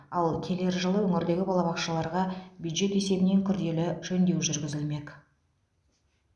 ал келер жылы өңірдегі балабақшаларға бюджет есебінен күрделі жөндеу жүргізілмек